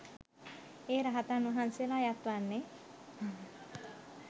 ඒ රහතන් වහන්සේලා අයත් වන්නේ